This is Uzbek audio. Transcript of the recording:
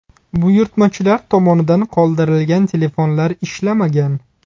Buyurtmachilar tomonidan qoldirilgan telefonlar ishlamagan.